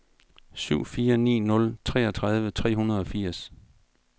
syv fire ni nul treogtredive tre hundrede og firs